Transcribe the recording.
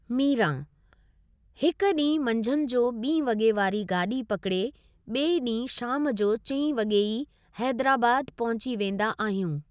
मीरां: हिकु डीं॒हुं मंझंधि जो बीं॒ वॻे वारी गाडी॒ पकड़े बि॒ए डीं॒हुं शाम जो चई वॻे ई हैदराबाद पहुंची वेंदा आहियूं।